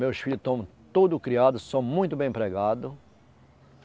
Meus filhos estão todos criados, são muito bem empregados.